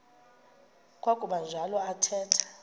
kwakuba njalo athetha